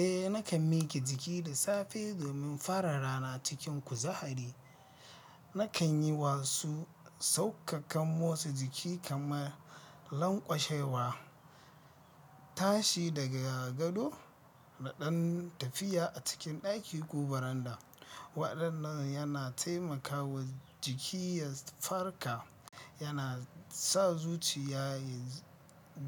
Eh nakan mike jiki da safe domin fara rana cikin kuzari. Nakan yi wasu saukakan motsa jiki kamar lanƙwashewa, tashi daga gado da ɗan tafiya a cikin ɗaki ko baranda. Waɗannan yana taimakawa jiki ya farka, yana sa zuciya ya